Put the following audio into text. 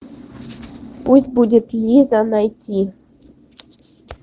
пусть будет лиза найти